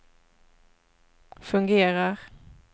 fungerar